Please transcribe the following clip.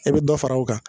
E bɛ dɔ fara o kan